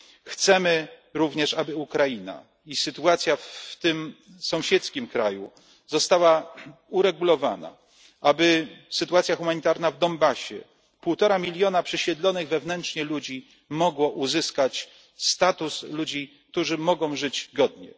Chcemy również, aby Ukraina i sytuacja w tym sąsiedzkim kraju została uregulowana, aby poprawiła się sytuacja humanitarna w Donbasie, aby półtora miliona przesiedlonych wewnętrznie ludzi mogło uzyskać status ludzi, którzy mogą żyć godnie.